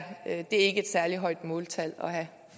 et særlig højt måltal at have